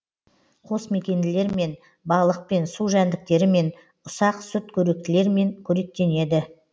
қосмекенділермен балықпен су жәңдіктерімен ұсақ сүтқоректілермен қоректенеді